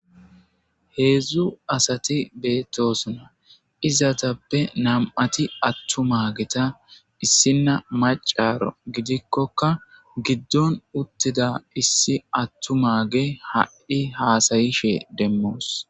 Heedzdzu asati beettosona izatappe nam'ati attu mageta issinna macaro gidikkokka giddon uttida issi attu maage haddhi haasayishe demmoos.